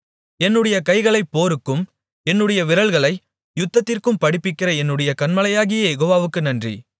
என்னுடைய கைகளைப் போருக்கும் என்னுடைய விரல்களை யுத்தத்திற்கும் படிப்பிக்கிற என்னுடைய கன்மலையாகிய யெகோவாவுக்கு நன்றி